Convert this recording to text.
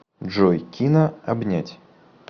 джой кина обнять